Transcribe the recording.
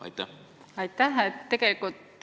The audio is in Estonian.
Aitäh!